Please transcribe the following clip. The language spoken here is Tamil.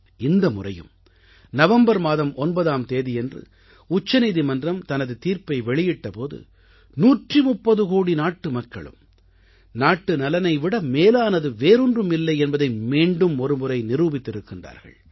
இந்த முறையும் நவம்பர் மாதம் 9ஆம் தேதியன்று உச்சநீதிமன்றம் தனது தீர்ப்பை வெளியிட்ட போது 130 கோடி நாட்டுமக்களும் நாட்டுநலனை விட மேலானது வேறொன்றும் இல்லை என்பதை மீண்டும் ஒருமுறை நிரூபித்திருக்கிறார்கள்